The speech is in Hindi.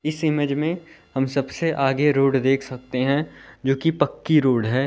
इस इमेज में हम सबसे आगे रोड देख सकते हैं जोकि पक्की रोड है।